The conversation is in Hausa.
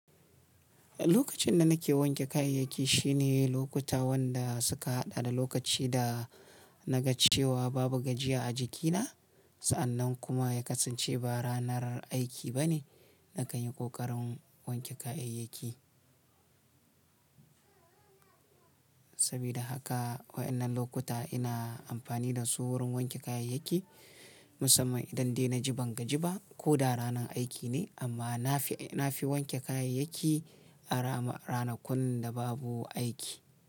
Lokacin da nake wanke kayayyaki shine lokuta wanda suka haɗa da lokaci da na ga cewa babu gajiya a jikina. Sa'annan kuma ya kasance ba ranar aiki ba ne. Nakan yi ƙoƙarin wanke kayayyaki. Sabida haka waɗannan lokuta ina amfani da su wurin wanke kayayyaki. Musamman idan dai na ji bangaji ba ko da ranar aiki ne amma na fi, na fi wanke kayayyaki a rana, ranakun da babu aiki.